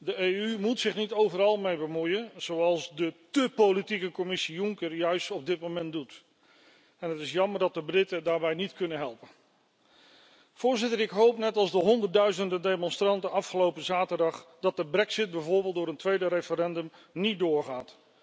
De EU moet zich niet overal mee bemoeien, zoals de té politieke Commissie Juncker op dit moment doet. Het is jammer dat de Britten daarbij niet kunnen helpen. Voorzitter, ik hoop, net als de honderdduizenden demonstranten afgelopen zaterdag, dat de brexit bijvoorbeeld door een tweede referendum niet doorgaat.